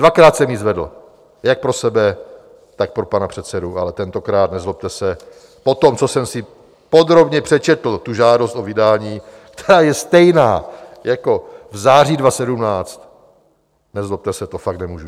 Dvakrát jsem ji zvedl jak pro sebe, tak pro pana předsedu, ale tentokrát, nezlobte se, po tom, co jsem si podrobně přečetl tu žádost o vydání, ta je stejná jako v září 2017, nezlobte se, to fakt nemůžu.